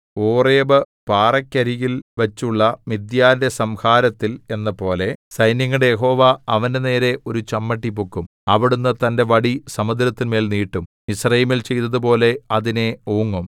Oreb പാറയ്ക്കരികിൽ വച്ചുള്ള മിദ്യാന്‍റെ സംഹാരത്തിൽ എന്നപോലെ സൈന്യങ്ങളുടെ യഹോവ അവന്റെനേരെ ഒരു ചമ്മട്ടി പൊക്കും അവിടുന്ന് തന്റെ വടി സമുദ്രത്തിന്മേൽ നീട്ടും മിസ്രയീമിൽ ചെയ്തതുപോലെ അതിനെ ഓങ്ങും